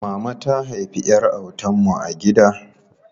Mama ta haifi ƴar autan mu a gida.